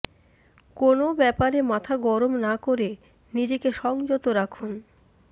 কোনও ব্যাপারে মাথা গরম না করে নিজেকে সংযত রাখুন